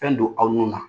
Fɛn don aw nun na